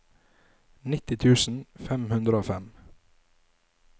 nitti tusen fem hundre og fem